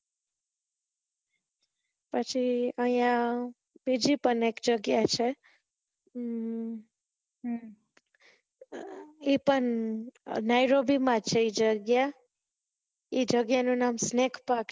પછી અયીયા બીજી પણ એક જગ્યા છે ઈ પણ નાઈરોબી માં છે ઈ જગ્યા એ જગ્યા નો નામ snake park